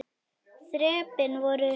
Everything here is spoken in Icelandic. Þrepin voru hrein.